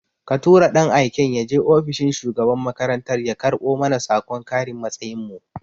Ka tura ɗan aiken yaje ofishin shugaban makarantar ya karbo mana sakon karin matsayin mu